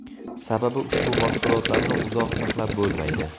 Sababi ushbu mahsulotlarni uzoq saqlab bo‘lmaydi.